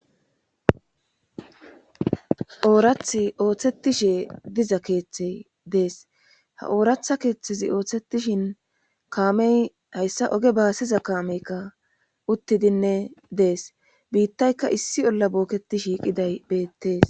Oorath ooththettishe diza keeththey dees ha ooratha keeththezi ooththetishin kaamey hayssa oge baasiza kaameykka uttidinne dees biittayka issi olla bookketi shiiqiday beettees